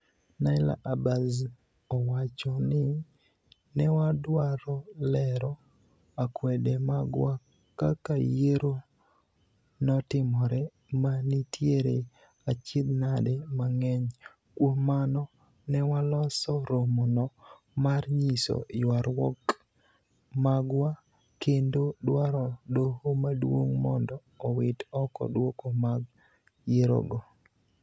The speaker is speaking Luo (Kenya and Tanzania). Naila Abass owachoni,"newadwaro lero akwede magwa kaka yiero notimore, nenitiere achiedh nade mang'eny, kuom mano newaloso romono mar nyiso yuagruok magwa kendo dwaro doho maduong mondo owit oko duoko mag yierogo.